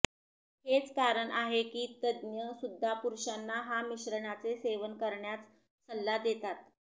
हेच कारण आहे कि तज्ज्ञ सुद्धा पुरुषांना हा मिश्रणाचे सेवन करण्याच सल्ला देतात